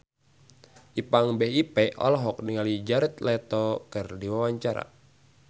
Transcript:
Ipank BIP olohok ningali Jared Leto keur diwawancara